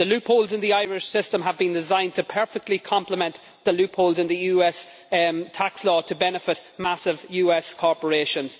The loopholes in the Irish system have been designed to perfectly complement the loopholes in the US tax law to benefit massive US corporations.